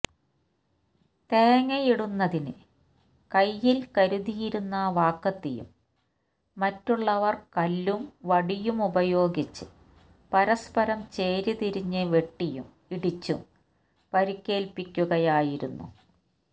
തേങ്ങയിടുന്നതിന് കയ്യില് കരുതിയിരുന്ന വാക്കത്തിയും മറ്റുള്ളവര് കല്ലും വടിയുമപയോഗിച്ച് പരസ്പരം ചേരിതിരിഞ്ഞ് വെട്ടിയും ഇടിച്ചും പരിക്കേല്പ്പിക്കുകയായിരുന്നു